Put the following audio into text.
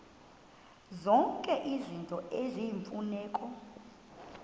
zonke izinto eziyimfuneko